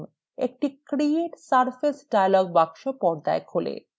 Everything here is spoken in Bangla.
একটি create surface dialog box পর্দায় খোলে